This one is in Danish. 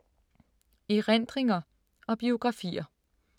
Erindringer og biografier